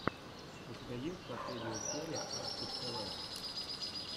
у тебя есть последняя серия аспид тв